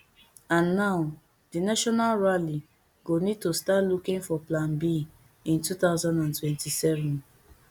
and now di national rally go need to start looking for plan b in two thousand and twenty-seven